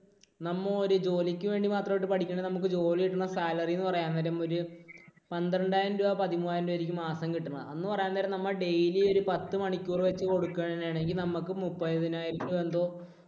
നമ്മ ഒരു ജോലിക്ക് വേണ്ടി മാത്രമായിട്ട് പഠിക്കുന്നു നമുക്ക് ജോലി കിട്ടുന്ന salary എന്ന് പറയുകയാണ് നേരം ഒരു പന്ത്രണ്ടായിരം രൂപ പതിമൂവായിരം രൂപയായിരിക്കും മാസം കിട്ടുന്നത്. എന്ന് പറയാൻ നേരം നമ്മൾ daily ഒരു പത്തു മണിക്കൂർ വച്ച് കൊടുക്കുകയാണെങ്കിൽ നമുക്ക് മുപ്പതിനായിരം രൂപ എന്തോ